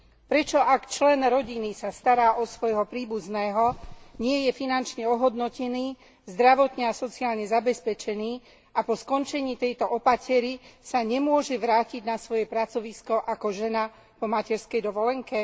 Prečo, ak člen rodiny sa stará o svojho príbuzného, nie je finančne ohodnotený, zdravotne a sociálne zabezpečený a po skončení tejto opatery sa nemôže vrátiť na svoje pracovisko ako žena po materskej dovolenke?